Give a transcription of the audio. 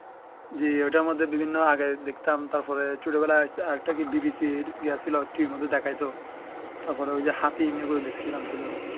জ্বি ঐ টার মধ্যে বিভিন্ন আগের দেখতাম তার পরে ছোট বেলায় আরেক টা কি BBC র ইয়া ছিলো TV এর মধ্যে দেখাই তো তার পরে ঐ যে হাতিম এই গুলো দেখছিলাম ছোট বেলায়